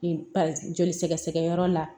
Joli sɛgɛ sɛgɛ yɔrɔ la